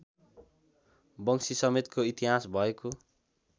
वंशीसमेतको इतिहास भएको